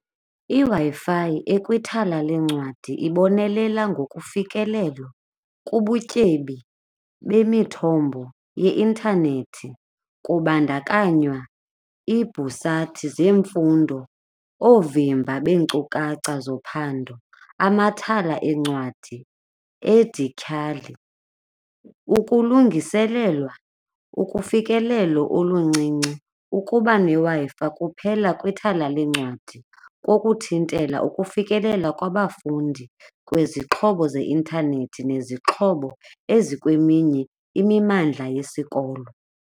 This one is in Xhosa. IWi-Fi ekwithala leencwadi ibonelela ngokufikelelo kubutyebi bemithombo yeinthanethi kubandakanywa iibhusathi zemfundo, oovimba beenkcukacha zophando, amathala eencwadi endityhali, ukulungiselelwa, ukufikelelo oluncinci. Ukuba neWi-Fi kuphela kwithala leencwadi kokuthintela ukufikelela kwabafundi kwizixhobo zeintanethi nezixhobo ezikweminye imimandla yesikolo.